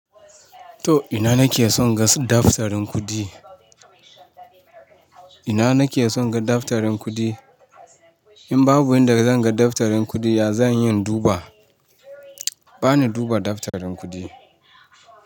To ina nake son ga daftarin kuɗi? Ina nake son ga daftarin kuɗi? In babu inda zan ga daftarin kuɗi ya zan yi in duba. Bani duba daftarin kuɗi.